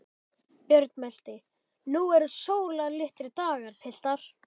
Björn mælti: Nú eru sólarlitlir dagar, piltar!